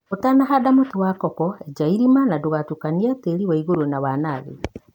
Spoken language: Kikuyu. ũtanahanda mũtĩ wa koko enja irima na ndũgatukanie tĩri wanaigũru na wanathĩ.